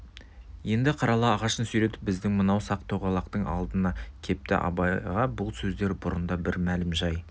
енді қарала ағашын сүйретіп біздің мынау сақ-тоғалақтың алдына кепті абайға бұл сөздер бұрында бір мәлім жай